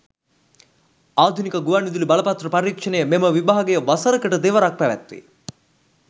ආධුනික ගුවන් විදුලි බලපත්‍ර පරීක්‍ෂණය මෙම විභාගය වසරකට දෙවරක් පැවැත්වේ.